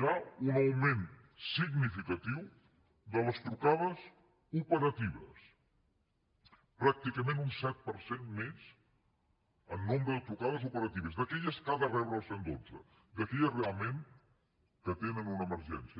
hi ha un augment significatiu de les trucades operatives pràcticament un set per cent més en nombre de trucades operatives d’aquelles que ha de rebre el cent i dotze d’aquelles realment que tenen una emergència